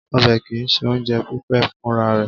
Ọbẹ̀ kì í ṣe oúnjẹ pípé fúnra rẹ̀.